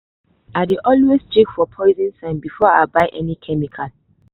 i dey always check for poison sign before i buy any chemical.